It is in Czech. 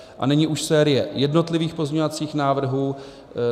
A nyní už série jednotlivých pozměňovacích návrhů.